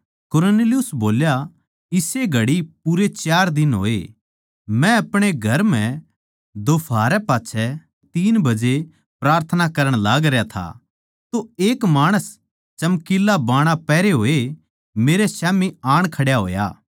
कुरनेलियुस बोल्या इस्से घड़ी पूरे चार दिन होए मै अपणे घर म्ह दोफाहरै पाच्छै तीन बजे प्रार्थना करण लागरया था तो एक माणस चमकीला बाणा पहरे होए मेरै स्याम्ही आण खड्या होया